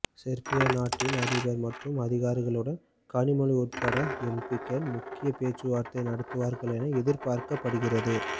செர்பிய நாட்டின் அதிபர் மற்றும் அதிகாரிகளுடன் கனிமொழி உள்பட எம்பிக்கள் முக்கிய பேச்சுவார்த்தை நடத்துவார்கள் என எதிர்பார்க்கப்படுகிறது